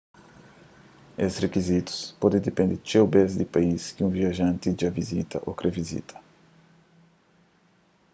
es rikizitus pode dipende txeu bês di país ki un viajanti dja vizita ô kre vizita